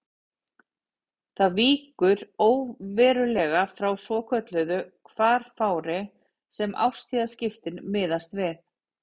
Það víkur óverulega frá svokölluðu hvarfári sem árstíðaskiptin miðast við.